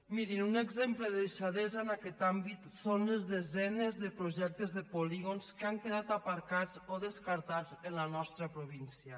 mirin un exemple de deixadesa en aquest àmbit són les desenes de projectes de polígons que han quedat aparcats o descartats en la nostra província